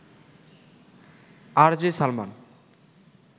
RJ Salman